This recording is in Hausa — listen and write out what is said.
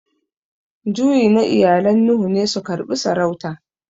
Juyi na iyalan Nuhu ne su karbi saurauta.